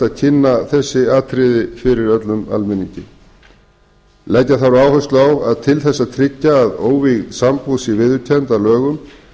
að kynna þessi atriði fyrir öllum almenningi leggja þarf áherslu á að til þess að tryggja að óvígð sambúð sé viðurkennd að lögum